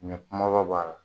Ɲɔ kunbaba b'a la.